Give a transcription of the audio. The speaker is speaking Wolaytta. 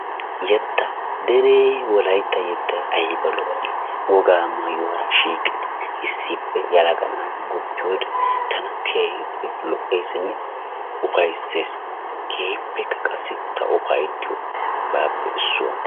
yetaa, deree wolaytta yetay ayba lo"ii? wogaa maayuwara shiiqidi issippe yelaga naati guppiyode tana keehippe lo'eesinne ufaysses, keehippeka qassi ta ufayttiyobaappe issuwa.